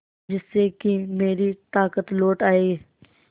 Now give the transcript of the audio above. जिससे कि मेरी ताकत लौट आये